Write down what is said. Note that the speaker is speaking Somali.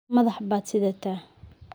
Madax baad sidataa.